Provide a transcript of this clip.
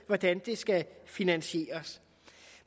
hvordan det skal finansieres